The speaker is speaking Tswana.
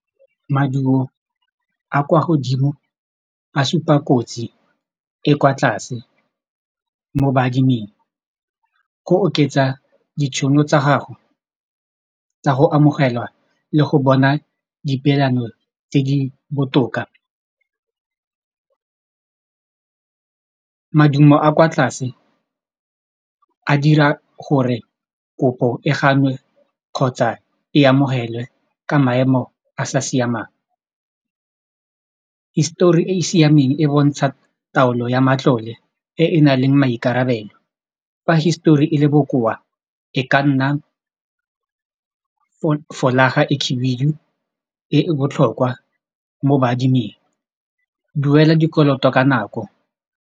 Maduo a kwa godimo a supa kotsi e kwa tlase mo baadiming go oketsa ditšhono tsa gago tsa go amogelwa le go bona di peelano tse di botoka madumo a kwa tlase a dira gore kopo e ganwe kgotsa e amogelwe ka maemo a sa siamang histori e e siameng e bontsha taolo ya matlole e e nang le maikarabelo fa histori e le bokoa e ka nna folaga e khibidu e botlhokwa mo baadiming duela dikoloto ka nako.